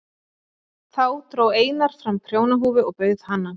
Þá dró Einar fram prjónahúfu og bauð hana.